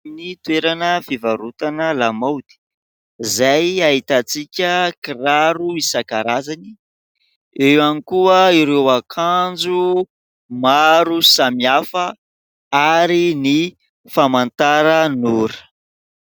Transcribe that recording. Ny toerana fivarotana lamaody izay ahitantsika kiraro isan-karazany. Eo ihany koa ireo akanjo maro samihafa ary ny famantaran'ora.